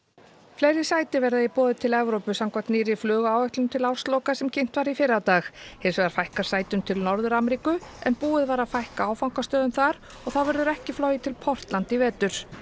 fleiri sæti verða í boði til Evrópu samkvæmt nýrri flugáætlun til ársloka sem kynnt var í fyrradag hins vegar fækkar sætum til Norður Ameríku en búið var að fækka áfangastöðum þar og þá verður ekki flogið til Portland í vetur